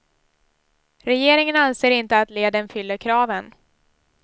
Regeringen anser inte att leden fyller kraven.